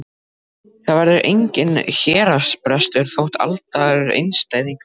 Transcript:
Það verður enginn héraðsbrestur þótt aldraður einstæðingur sofni burt.